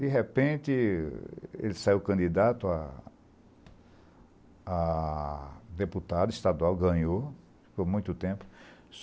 De repente, ele saiu candidato a deputado estadual, ganhou, ficou muito tempo.